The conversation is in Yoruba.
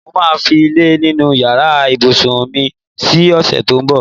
Mo máa fi ilé nínú yàrạ ìbùsùn mi si ò̩sè̩ tó ń bò̩.